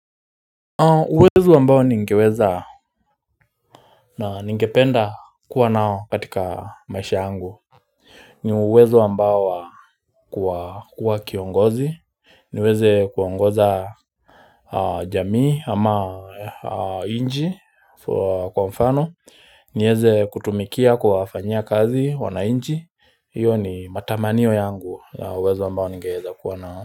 Uwezo ambao ningeweza na ningependa kuwa nao katika maisha yangu ni uwezo ambao wa kuwa kiongozi niweze kuongoza jamii ama inchi kwa mfano niweze kutumikia kuwafanyia kazi wanainchi hiyo ni matamanio yangu ya uwezo wambao ningeweza kuwa nao.